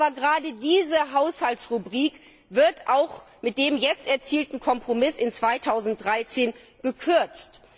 Aber gerade diese Haushaltsrubrik wird auch mit dem jetzt erzielten Kompromiss 2013 gekürzt.